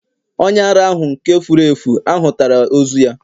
onye ara ahu, nke furu efu, ahutara ozu ya